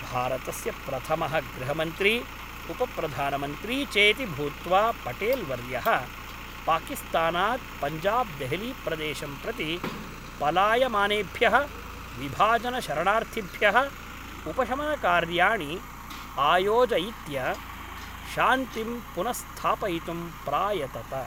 भारतस्य प्रथमः गृहमन्त्री, उपप्रधानमन्त्री चेति भूत्वा पटेल् वर्यः, पाकिस्तानात् पञ्जाब्देहलीप्रदेशं प्रति पलायमानेभ्यः विभाजनशरणार्थिभ्यः उपशमनकार्याणि आयोजयित्य, शान्तिं पुनस्थापयितुं प्रायतत।